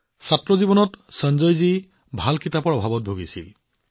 ছাত্ৰ জীৱনত সঞ্জয়জীয়ে ভাল কিতাপৰ অভাৱৰ সন্মুখীন হব লগা হৈছিল